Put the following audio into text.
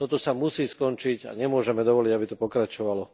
Toto sa musí skončiť a nemôžeme dovoliť, aby to pokračovalo.